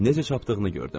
Necə çapdığını gördüm.